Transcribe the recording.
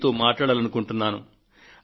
మీతో మాట్లాడాలనుకుంటున్నాను